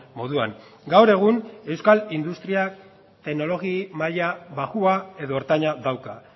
moduan gaur egun euskal industria teknologi maila baxua edo ertaina dauka